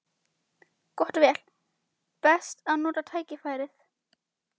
Gott og vel: best að nota tækifærið.